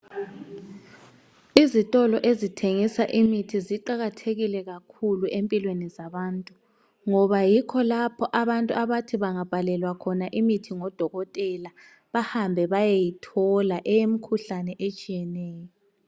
Izitolo ezithengisa imithi ziqakathekile kakhulu empilweni zabantu ngoba yikho lapho abantu abathi bangabhalelwa khona imithi godokotela bahambe bayeyithola eyemikhuhlane etshiyeneyo.